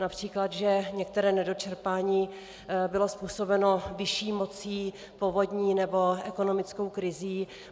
Například že některé nedočerpání bylo způsobeno vyšší mocí, povodní nebo ekonomickou krizí.